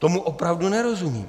Tomu opravdu nerozumím.